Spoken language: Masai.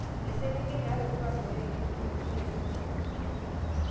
Eselenkei nata orkual loyekenyi tolosho le india.